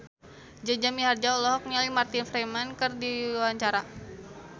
Jaja Mihardja olohok ningali Martin Freeman keur diwawancara